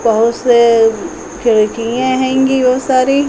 बहो से खिड़कियें हैंगी वो सारी।